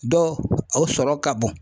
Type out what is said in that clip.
Dɔw, o sɔrɔ ka bon .